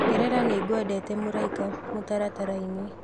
ongerera nĩngwendete mũraĩka mutarataraini